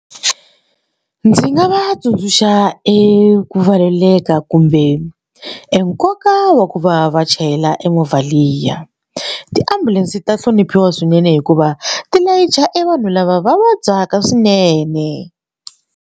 Ndzi nga va tsundzuxa eku valuleka kumbe e nkoka wa ku va va chayela e movha liya tiambulense ta hloniphiwa swinene hikuva ti layicha e vanhu lava va vabyaka swinene.